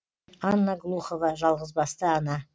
анна глухова жалғызбасты ана